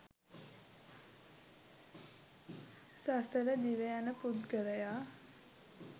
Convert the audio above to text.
සසර දිව යන පුද්ගලයා